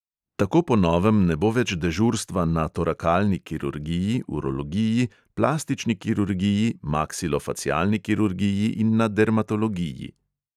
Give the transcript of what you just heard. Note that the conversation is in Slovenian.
Tako po novem ne bo več dežurstva na torakalni kirurgiji, urologiji, plastični kirurgiji, maksilofacialni kirurgiji in na dermatologiji.